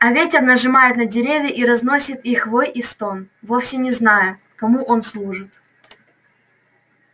а ветер нажимает на деревья и разносит их вой и стон вовсе не зная кому он служит